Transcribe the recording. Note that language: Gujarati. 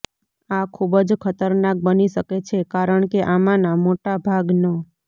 આ ખૂબ જ ખતરનાક બની શકે છે કારણ કે આમાંના મોટાભાગન